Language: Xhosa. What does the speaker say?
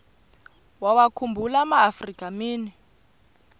wawakhumbul amaafrika mini